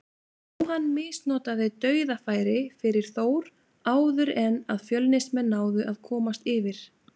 Jóhann misnotaði dauðafæri fyrir Þór áður en að Fjölnismenn náðu að komast yfir.